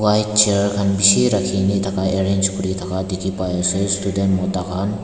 white chair khan bishi rakhikae ni arrange kurithaka dikhipaiase student mota khan.